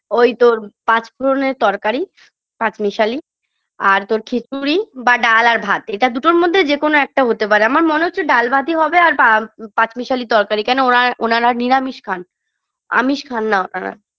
ওই তোর পাঁচফোড়নের তরকারি পাঁচমিশালী আর তোর খিচুড়ি বা ডাল আর ভাত এটার দুটোর মধ্যে যেকোন একটা হতে পারে আমার মনে হচ্ছে ডাল ভাতই হবে আর পা পাঁচমিশালী তরকারি কেন ওনার ওনারা নিরামিষ খান আমিষ খান না ওনারা